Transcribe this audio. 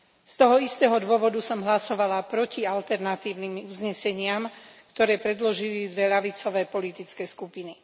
Z toho istého dôvodu som hlasovala proti alternatívnym uzneseniam, ktoré predložili dve ľavicové politické skupiny.